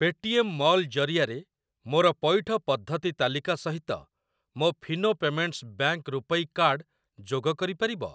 Pay TM mall ଜରିଆରେ ମୋର ପଇଠ ପଦ୍ଧତି ତାଲିକା ସହିତ ମୋ Fino payments bank RuPay card ଯୋଗ କରିପାରିବ?